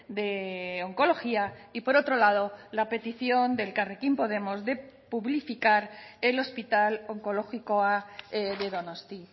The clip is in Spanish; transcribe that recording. de oncología y por otro lado la petición de elkarrekin podemos de publificar el hospital onkologikoa de donosti